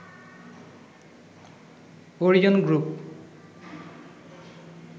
Orion group